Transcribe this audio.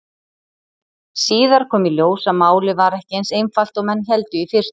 Síðar kom í ljós að málið var ekki eins einfalt og menn héldu í fyrstu.